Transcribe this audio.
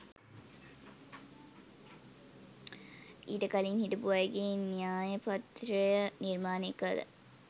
ඊට කලින් හිටපු අයගේ න්‍යායපත්‍රය නිර්මාණය කළ